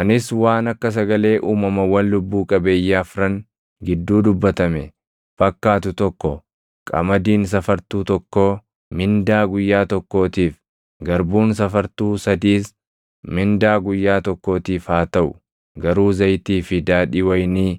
Anis waan akka sagalee uumamawwan lubbuu qabeeyyii afran gidduu dubbatame fakkaatu tokko, “Qamadiin safartuu tokkoo mindaa guyyaa tokkootiif, garbuun safartuu sadiis mindaa guyyaa tokkootiif haa taʼu; garuu zayitii fi daadhii wayinii